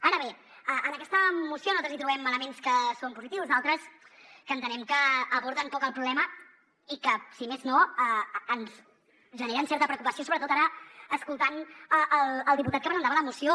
ara bé en aquesta moció nosaltres hi trobem elements que són positius d’altres que entenem que aborden poc el problema i que si més no ens generen certa preocupació sobretot ara escoltant el diputat que presentava la moció